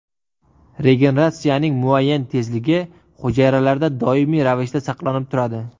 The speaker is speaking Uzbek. Regeneratsiyaning muayyan tezligi hujayralarda doimiy ravishda saqlanib turadi.